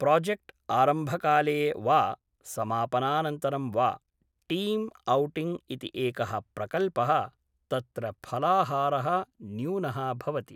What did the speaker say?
project आरम्भकाले वा समापनानन्तरं वा टीम् औटिङ्ग् इति एकः प्रकल्पः तत्र फलाहारः न्यूनः भवति